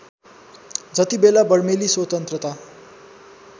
जतिबेला बर्मेली स्वतन्त्रता